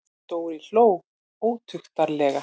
Dóri hló ótuktarlega.